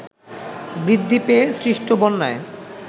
বৃদ্ধি পেয়ে সৃষ্ট বন্যায়